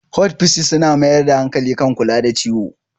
Hospices suna mayar da hankali kan kula da ciwo.